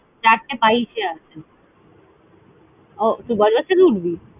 চারটে বাইশে আছে। ও তুই বজবজ থেকে উঠবি?